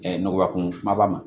nɔgɔya kun kumaba ma